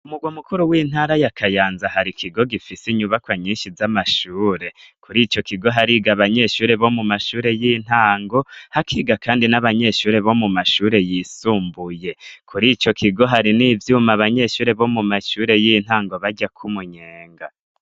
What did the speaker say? umugwa mukuru w'intara yakayanza hari kigo gifise inyubaka nyinshi z'amashure kuri icyo kigo hariga abanyeshure bo mu mashure y'intango hakiga kandi n'abanyeshure bo mu mashure yisumbuye kuri icyo kigo hari n'ivyuma banyeshure bo mu mashure y'intango baryako umunyenga.